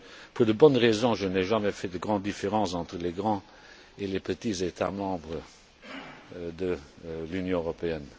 Pour de bonnes raisons, je n'ai jamais fait de grandes différences entre les grands et les petits États membres de l'Union européenne.